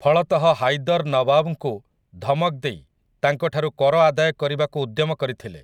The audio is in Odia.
ଫଳତଃ ହାଇଦର୍ ନୱାବ୍‌ଙ୍କୁ ଧମକ ଦେଇ ତାଙ୍କ ଠାରୁ କର ଆଦାୟ କରିବାକୁ ଉଦ୍ୟମ କରିଥିଲେ ।